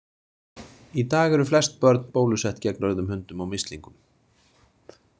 Í dag eru flest börn bólusett gegn rauðum hundum og mislingum.